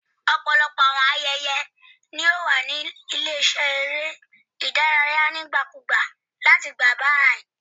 Ọpọlọpọ awọn ayẹyẹ yoo wa ni ile-iṣẹ ere idaraya nigbakugba lati igba bayi